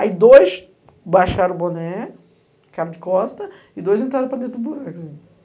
Aí dois baixaram o boné, ficaram de costa, e dois entraram para dentro do buraco.